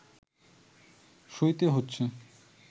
সইতে হচ্ছে